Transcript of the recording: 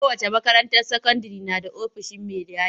Kowace makaranta sakandire na da ofishin mai gadi.